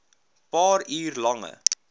paar uur lange